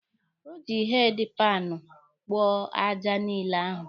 O ji heedi panụ kpoo aja niile ahụ.